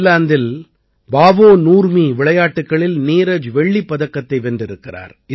ஃபின்லாந்தில் Paavo Nurmi விளையாட்டுக்களில் நீரஜ் வெள்ளிப் பதக்கத்தை வென்றிருக்கிறார்